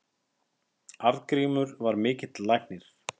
Arngrímur var mikill læknir.